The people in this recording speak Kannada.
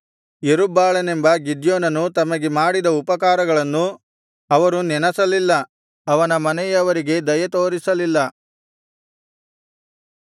ಯೆರುಬ್ಬಾಳನೆಂಬ ಗಿದ್ಯೋನನು ತಮಗೆ ಮಾಡಿದ ಉಪಕಾರಗಳನ್ನು ಅವರು ನೆನಸಲಿಲ್ಲ ಅವನ ಮನೆಯವರಿಗೆ ದಯೆತೋರಿಸಲಿಲ್ಲ